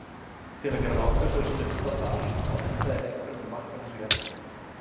Til að gera langa sögu stutta þar þá endaði leikurinn með markalausu jafntefli.